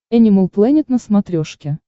энимал плэнет на смотрешке